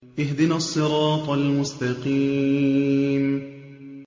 اهْدِنَا الصِّرَاطَ الْمُسْتَقِيمَ